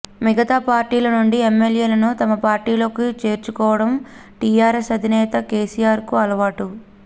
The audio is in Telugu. మిగతా పార్టీల నుండి ఎమ్మెల్యేలను తమ పార్టీలోకి చేర్చుకోవడం టీఆర్ఎస్ అధినేత కేసీఆర్ కు అలవాటు